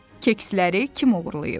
Keksləri kim oğurlayıb?